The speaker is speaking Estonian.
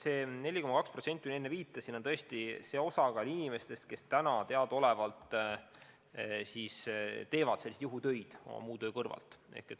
See 4,2%, millele ma enne viitasin, on nende inimeste osakaal, kes praegu teadaolevalt teevad oma põhitöö kõrvalt juhutöid.